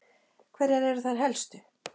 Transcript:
Hverjar eru þær helstu?